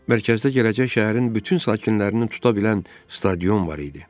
Mərkəzdə gələcək şəhərin bütün sakinlərini tuta bilən stadion var idi.